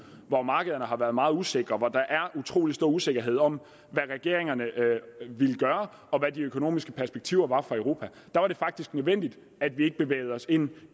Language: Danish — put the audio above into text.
hvor markederne har været meget usikre og hvor der er utrolig stor usikkerhed om hvad regeringerne vil gøre og hvad de økonomiske perspektiver er for europa er det faktisk nødvendigt at vi ikke bevæger os ind